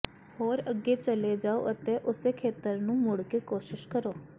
ਹੋਰ ਅੱਗੇ ਚਲੇ ਜਾਓ ਅਤੇ ਉਸੇ ਖੇਤਰ ਨੂੰ ਮੁੜ ਕੇ ਕੋਸ਼ਿਸ਼ ਕਰੋ